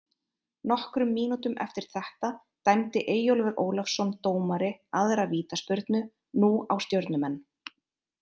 Nokkrum mínútum eftir þetta dæmdi Eyjólfur Ólafsson dómari aðra vítaspyrnu, nú á Stjörnumenn.